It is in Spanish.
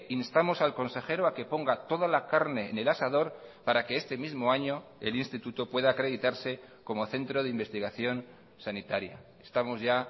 instamos al consejero a que ponga toda la carne en el asador para que este mismo año el instituto pueda acreditarse como centro de investigación sanitaria estamos ya